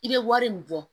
I bɛ wari min bɔ